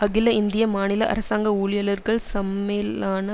அகில இந்திய மாநில அரசாங்க ஊழியலர்கள் சம்மேளான